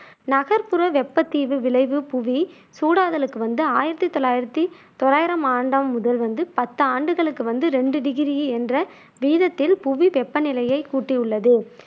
நகர்ப்புற வெப்பத் தீவு விளைவு புவி சூடாதலுக்கு வந்து ஆயிரத்தி தொள்ளாயிரத்தி தொள்ளாயிரம் ஆண்டாம் முதல் வந்து பத்து ஆண்டுகளுக்கு வந்து ரெண்டு டிகிரி என்ற வீதத்தில் புவி வெப்பநிலையைக் கூட்டியுள்ளது.